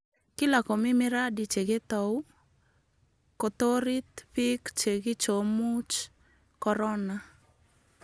Kila komi miradi che ketao kotarit biik chekigomuuch korona